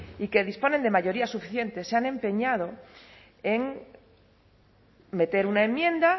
y que disponen de mayorías suficientes se han empeñado en meter una enmienda